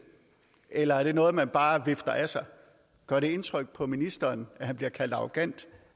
eller er det noget som man bare vifter af sig gør det indtryk på ministeren at han bliver kaldt arrogant